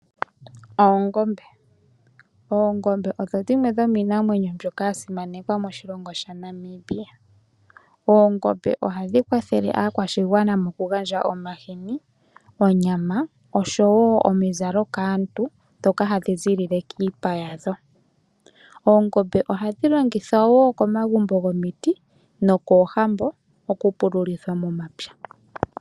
Oongombe, oongombe odho dhimwe dhomiinamwenyo mbyoka yasimanekwa moshilongo shetu shaNamibia. Oongombe ohadhi kwathele aakwashigwana moku gandja omahini, onyama nosho woo omizalo kaantu shoka hadhi ziilile kiipa yadho. Oongombe ohadhi longithwa woo komagumbo gomiti nokoohambo oku pululithwa momapya.